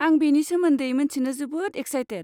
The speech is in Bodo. आं बेनि सोमोन्दै मोन्थिनो जोबोद इक्साइटेद।